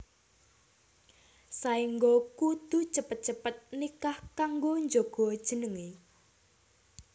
Saéngga kudu cepet cepet nikah kanggo njaga jenengé